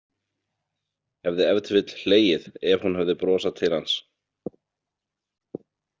Hefði ef til vill hlegið ef hún hefði brosað til hans.